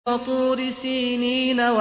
وَطُورِ سِينِينَ